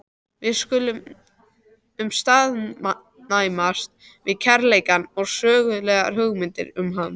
Við skulum staðnæmast við kærleikann og sögulegar hugmyndir um hann.